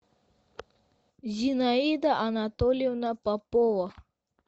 зинаида анатольевна попова